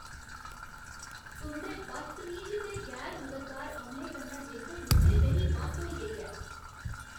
तुं'दे बदतमीज ते गैर मददगार अमले कन्नै निभदे निभदे मेरी बस होई गेई ऐ।